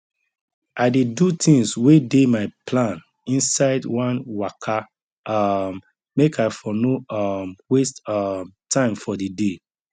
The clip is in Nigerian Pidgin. i dey do things wey dey my plan inside one waka um make i for no um waste um time for di day